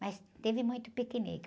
Mas teve muito piquenique.